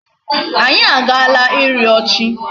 Anyị a agaala ịrịọ chi.